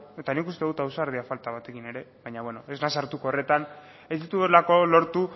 eta nik uste dut ausardia falta batekin ere baina ez naiz sartuko horretan ez dituelako lortu